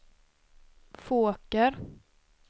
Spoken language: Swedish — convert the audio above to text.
Fåker